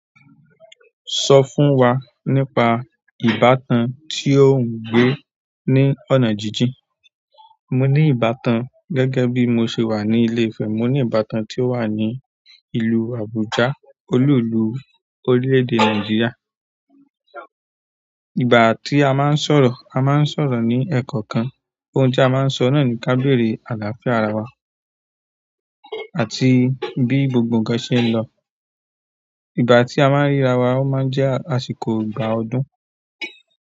Sọ fún wa nípa ìbátan tí ò ń gbé ní ọ̀nà jíjìn. Mo ní ìbátan gẹ́gẹ́ bí mo ṣe wà ní ìle Ifẹ̀, mo ní ìbátan tí ó wà ní ìlú Àbújá olú ìlú orílẹ̀-èdè Nàìjíríà. Ìgbà tí a máa ń sọ̀rọ̀, a máa ń sọ̀rọ̀ ní ẹ̀kọ̀ kan. Oun ti a maa n so nani ka beere alafia ara wa àti bi gbogbo nkan ṣe nlọ. Ìgbà tí a máa ń ríra wa a máa ń jẹ́ àsìkò ìgbà ọdún.